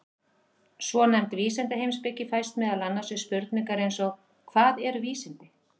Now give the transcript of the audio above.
Svonefnd vísindaheimspeki fæst meðal annars við spurningar eins og Hvað eru vísindi?